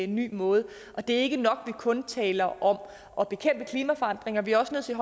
ny måde det er ikke nok at kun taler om at bekæmpe klimaforandringer vi er også nødt til